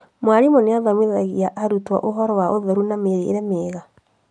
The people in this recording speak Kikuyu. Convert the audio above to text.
Mwarimũ nĩathomithagia arutwo ũhoro wa ũtheru na mĩrĩre mĩega